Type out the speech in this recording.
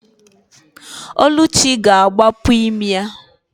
Ọlụchi ga-agbapu imi ya.